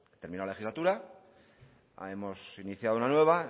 terminó la legislatura hemos iniciado una nueva